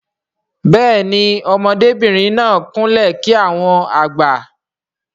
Béèni ọmọdé bìrìn náà kún lè kí àwọn àgbà.